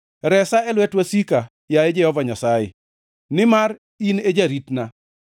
Resa e lwet wasika, yaye Jehova Nyasaye, nimar in e jaritna.